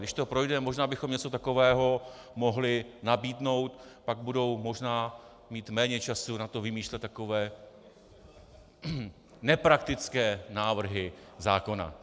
Když to projde, možná bychom něco takového mohli nabídnout, pak budou možná mít méně času na to vymýšlet takové nepraktické návrhy zákona.